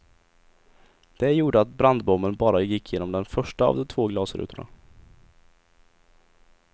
Det gjorde att brandbomben bara gick genom den första av de två glasrutorna.